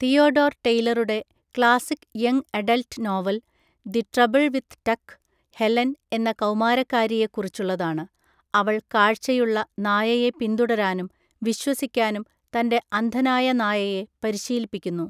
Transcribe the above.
Theodore ടെയ്‌ലറുടെ classic young adult novel, the trouble with Tuck, Helen എന്ന കൗമാരക്കാരിയെ കുറിച്ചുള്ളതാണ്. അവൾ കാഴ്ചയുള്ള നായയെ പിന്തുടരാനും വിശ്വസിക്കാനും തന്റെ അന്ധനായ നായയെ പരിശീലിപ്പിക്കുന്നു.